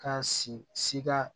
Ka si sika